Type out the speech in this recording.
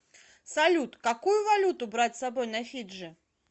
салют какую валюту брать с собой на фиджи